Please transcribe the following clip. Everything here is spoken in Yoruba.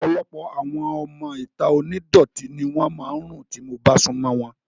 Ọ̀pọ̀lọpọ̀ àwọn ọmọ ìta onídọ̀tí ni wọ́n máa ń rùn tí mo bá sún mọ́ wọn